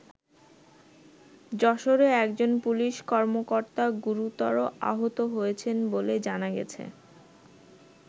যশোরে একজন পুলিশ কর্মকর্তা গুরুতর আহত হয়েছেন বলে জানা গেছে।